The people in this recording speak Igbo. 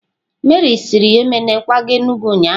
Meri siri Emene kwaga Enugwu ụnyahụ?